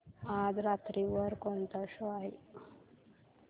आज रात्री वर कोणता शो आहे